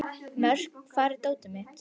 Mörk, hvar er dótið mitt?